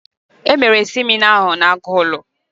E mere semịna ahụ n'Agụlụ.